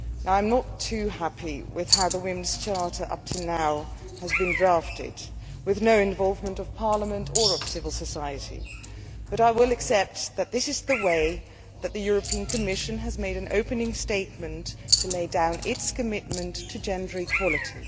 I am not too happy with how the Women's Charter up to now has been drafted, with no involvement of Parliament or of civil society, but I will accept that this is the way that the European Commission has made an opening statement to lay down its commitment to gender equality.